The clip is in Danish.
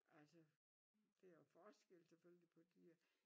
Altså det jo forskel selvfølgelig på dyr